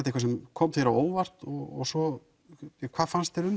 eitthvað sem kom þér á óvart og svo hvað fannst þér um